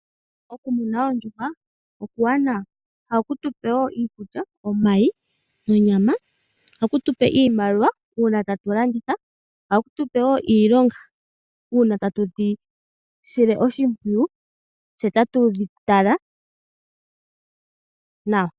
Okumuna oondjuhwa okuwanawa oshoka ohaku tupe iikulya, omayi, onyama, iimaliwa uuna tatu landitha, ohaku tupe woo iilonga uuna tatu dhi sile oshimpwiyu tse tatu dhi tala nawa.